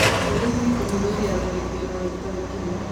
Borithi kũhithũria tharĩkĩro ya itoi Kenya